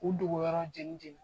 U dogoyɔrɔ j cɛ